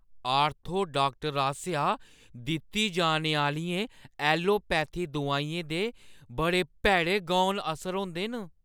Ortho doctor आसेआ दित्ती जाने आह्‌लियें एलोपैथी दोआइयें दे बड़े भैड़े गौण असर होंदे न।